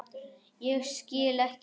Ég skil ekki.